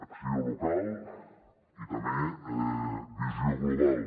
acció local i també visió global